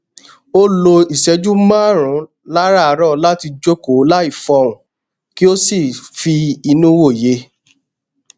ó lo ìṣẹjú márùnún láràárọ láti jókòó láì fọhùn kí ó sì fi inú wòye